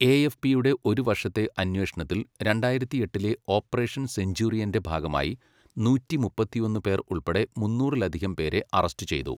എ.എഫ്.പിയുടെ ഒരു വർഷത്തെ അന്വേഷണത്തിൽ രണ്ടായിരത്തിയെട്ടിലെ ഓപ്പറേഷൻ സെഞ്ചൂറിയൻ്റെ ഭാഗമായി നൂറ്റി മുപ്പത്തിയൊന്ന് പേർ ഉൾപ്പെടെ മുന്നൂറിലധികം പേരെ അറസ്റ്റ് ചെയ്തു.